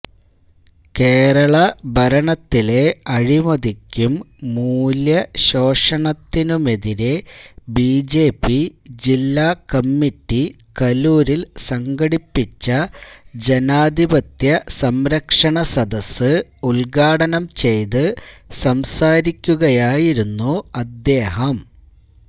കേരള ഭരണത്തിലെ അഴിമതിക്കും മൂല്യശോഷണത്തിനുമെതിരെ ബിജെപി ജില്ലാ കമ്മറ്റി കലൂരില് സംഘടിപ്പിച്ച ജനാധിപത്യസംരക്ഷണ സദസ്സ് ഉദ്ഘാടനംചെയ്ത് സംസാരിക്കുകയായിരുന്നു അദ്ദേഹം